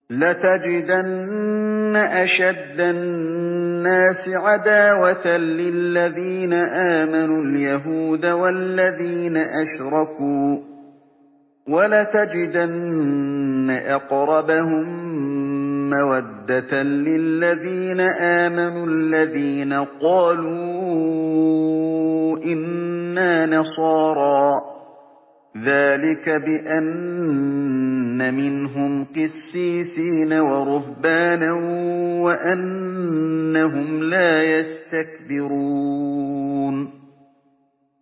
۞ لَتَجِدَنَّ أَشَدَّ النَّاسِ عَدَاوَةً لِّلَّذِينَ آمَنُوا الْيَهُودَ وَالَّذِينَ أَشْرَكُوا ۖ وَلَتَجِدَنَّ أَقْرَبَهُم مَّوَدَّةً لِّلَّذِينَ آمَنُوا الَّذِينَ قَالُوا إِنَّا نَصَارَىٰ ۚ ذَٰلِكَ بِأَنَّ مِنْهُمْ قِسِّيسِينَ وَرُهْبَانًا وَأَنَّهُمْ لَا يَسْتَكْبِرُونَ